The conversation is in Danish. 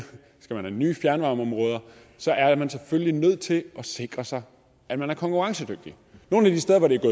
skal man have nye fjernvarmeområder så er man selvfølgelig nødt til at sikre sig at man er konkurrencedygtig nogle af de steder hvor det